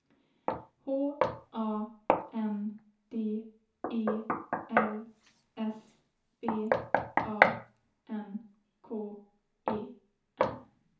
H A N D E L S B A N K E N